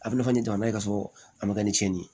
A bɛ na ni jamana ye ka sɔrɔ a ma kɛ ni cɛnni ye